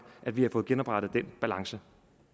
at vi har fået genoprettet den balance